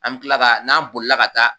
An bɛ tila ka n'an bolila ka taa